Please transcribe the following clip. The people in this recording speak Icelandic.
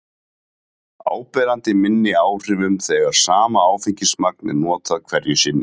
áberandi minni áhrifum þegar sama áfengismagn er notað hverju sinni